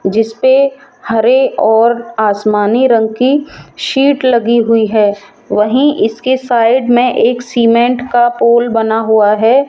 जिस पे हरे और आसमानी रंग की सीट लगी हुई है वहीं इसके साइड में एक सीमेंट का पोल बना हुआ है।